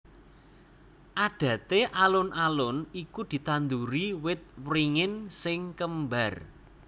Adaté alun alun iku ditanduri wit wringin sing kembar